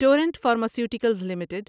torrent Pharmaceuticals limited